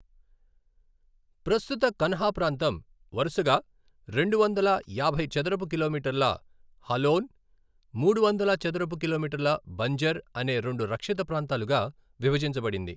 ప్రస్తుత కన్హా ప్రాంతం వరుసగా రెండువందల యాభై చదరపు కిలోమీటర్ల హాలోన్, మూడు వందల చదరపు కిలోమీటర్ల బంజర్ అనే రెండు రక్షిత ప్రాంతాలుగా విభజించబడింది.